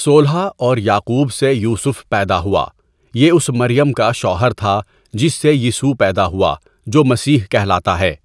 سولہ اور یعقوب سے یوسُف پیدا ہوا یہ اس مریم کا شوہر تھا جِس سے یِسوع پیدا ہُوا جو مسیح کہلاتا ہے.